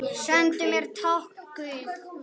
Sendu mér tákn guð.